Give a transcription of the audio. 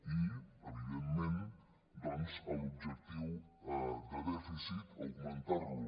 i evidentment doncs l’objectiu de dèficit augmentar lo